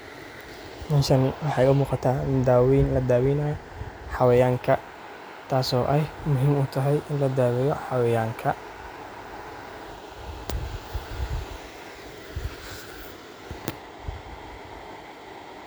Meeshaani waxay u muuqataa in daaweyn la daaweynaa xawayaanka taas oo aay muhiim utahay iin ladaweyo xawayaanka .